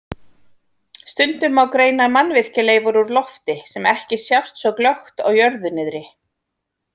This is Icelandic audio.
Stundum má greina mannvirkjaleifar úr lofti sem ekki sjást svo glöggt á jörðu niðri.